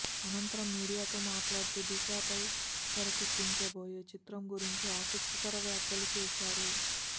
అనంతరం మీడియాతో మాట్లాడుతూ దిశాపై తెరకెక్కించబోయే చిత్రం గురించి ఆసక్తికర వ్యాఖ్యలు చేశారు